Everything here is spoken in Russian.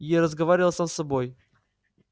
и разговаривал сам с собой